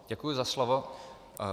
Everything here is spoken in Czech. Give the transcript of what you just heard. Děkuji za slovo.